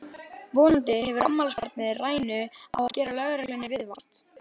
Vonandi hefur afmælisbarnið rænu á að gera lögreglunni viðvart!